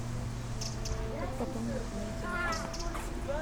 как пополнить мне телефон